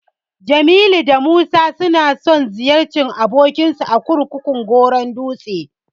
Jamilu da Musa suna so su ziyarci abokinsu a kurkukun Goron dutse.